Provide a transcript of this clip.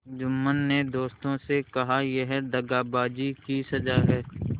जुम्मन ने दोस्तों से कहायह दगाबाजी की सजा है